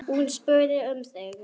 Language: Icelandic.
Hún spurði um þig.